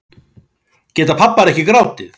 Geta pabbar ekki grátið